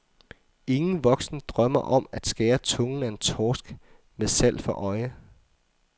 Ingen voksen drømmer om at skære tungen af en torsk med salg for øje.